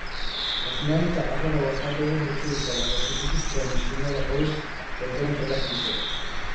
Cufnaanta carrada waxaa looga hortagi karaa hoos u dhigista mishiinada culus ee garoonka dhexdiisa.